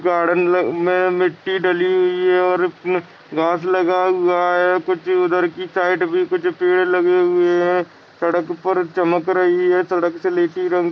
फिर गार्डन में-में मिट्टी डली हुई है और उसमे घास लगा हुआ है कुछ उधर की साइड में कुछ पेड़ लगे हुए है सड़क पर चमक रही है सड़क से ले कर इ रंग--